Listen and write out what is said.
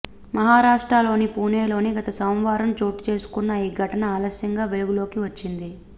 మహారాష్ట్రలోని పూణేలో గత సోమవారం చోటుచేసుకున్న ఈ ఘటన ఆలస్యంగా వెలుగులోకి వచ్చింది